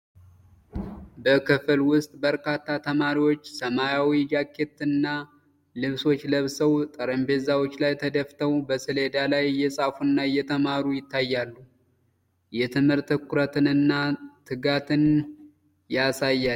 በክፍል ውስጥ በርካታ ተማሪዎች ሰማያዊ ጃኬቶችና ልብሶች ለብሰው፣ ጠረጴዛዎች ላይ ተደፍተው በሰሌዳ ላይ እየጻፉና እየተማሩ ይታያሉ። የትምህርት ትኩረትንና ትጋትን ያሳያል።